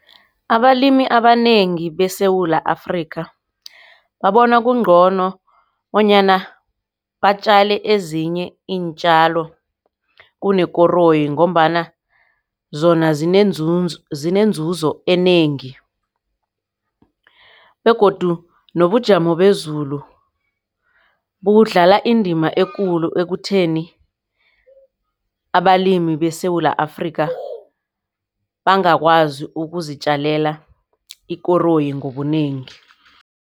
Abalimi abanengi beSewula Afrika babona kungcono bonyana batjale ezinye iintjalo kunekoroyi. Ngombana zona zinenzuzo enengi begodu nobujamo bezulu budlala indima ekulu ekutheni abalimi beSewula Afrika bangakwazi ukuzitjalela ikoroyi ngobunengi.